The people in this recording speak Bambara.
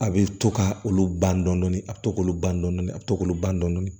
A bɛ to ka olu ban dɔɔni a bɛ to k'olu ban dɔɔni dɔɔni a bɛ to k'olu ban dɔɔni